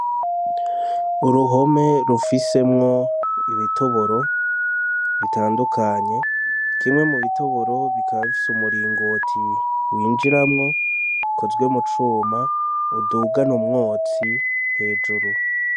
Uruhome rufisemwo ibitoboro bitandukanye kimwe mubitoboro kikaba gifise umuringoti winjiramwo ukozwe mucuma udugana umwotsi hejuru.